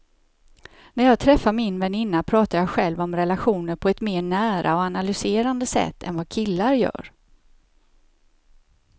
När jag träffar min väninna pratar jag själv om relationer på ett mer nära och analyserande sätt än vad killar gör.